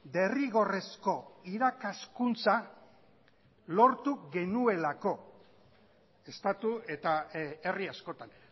derrigorrezko irakaskuntza lortu genuelako estatu eta herri askotan